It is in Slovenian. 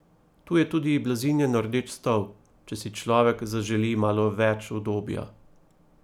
Tu je tudi blazinjen rdeč stol, če si človek zaželi malo več udobja.